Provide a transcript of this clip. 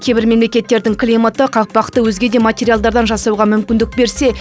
кейбір мемлекеттердің климаты қақпақты өзге де материалдардан жасауға мүмкіндік берсе